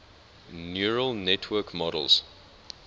neural network models